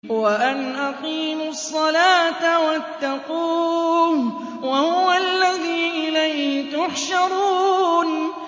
وَأَنْ أَقِيمُوا الصَّلَاةَ وَاتَّقُوهُ ۚ وَهُوَ الَّذِي إِلَيْهِ تُحْشَرُونَ